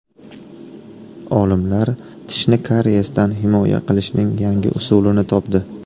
Olimlar tishni kariyesdan himoya qilishning yangi usulini topdi.